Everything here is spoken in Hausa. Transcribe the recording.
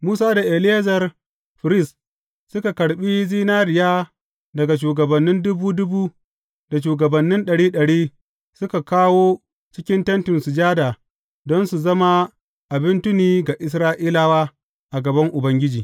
Musa da Eleyazar firist, suka karɓi zinariya daga shugabannin dubu dubu da shugabannin ɗari ɗari, suka kawo cikin Tentin Sujada, don su zama abin tuni ga Isra’ilawa a gaban Ubangiji.